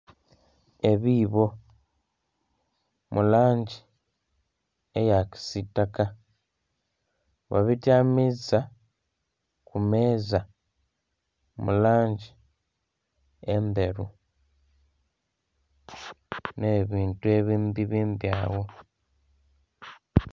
Ebiibo mu langi eya kisitaka babityamisa ku meeza mu langi endheru ne bintu ebindhi ebindhi agho.